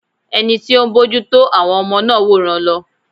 Ẹni tí ó ń bójú tó àwọn ọmọ náà wòran lọ.